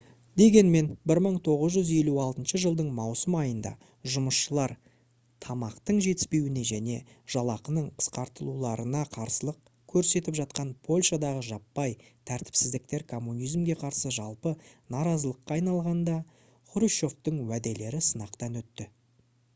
дегенмен 1956 жылдың маусым айында жұмысшылар тамақтың жетіспеуіне және жалақының қысқартылуларына қарсылық көрсетіп жатқан польшадағы жаппай тәртіпсіздіктер коммунизмге қарсы жалпы наразылыққа айналғанда хрущевтің уәделері сынақтан өтті